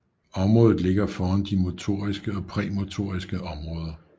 Området ligger foran de motoriske og præmotoriske områder